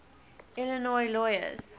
illinois lawyers